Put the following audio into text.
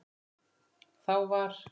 Þá var